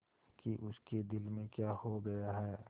कि उसके दिल में क्या हो गया है